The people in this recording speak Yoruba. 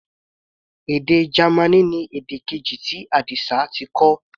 Èdè Gamaní ni èdè keji tí Adisa ti kọ́.